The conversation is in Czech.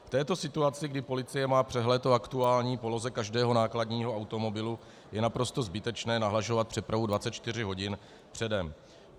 V této situaci, kdy policie má přehled o aktuální poloze každého nákladního automobilu, je naprosto zbytečné nahlašovat přepravu 24 hodin předem.